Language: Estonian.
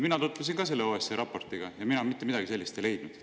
Mina tutvusin ka selle OSCE raportiga ja mina mitte midagi sellist ei leidnud.